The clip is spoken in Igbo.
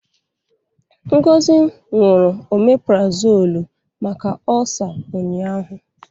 Ngozi ṅụrụ omeprazolu maka ọ́sa ụnyaahụ.